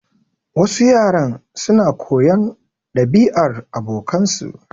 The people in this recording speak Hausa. Wasu yaran su na koyar ɗabi'ar abokansa.